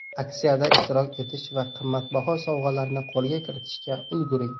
Aksiyada ishtirok etish va qimmatbaho sovg‘alarni qo‘lga kiritishga ulguring.